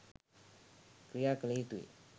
ක්‍රියාකළ යුතුයි.